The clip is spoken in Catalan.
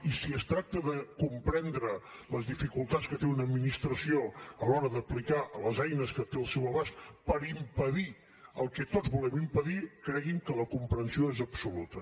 i si es tracta de comprendre les dificultats que té una administració a l’hora d’aplicar les eines que té al seu abast per impedir el que tots volem impedir creguin que la comprensió és absoluta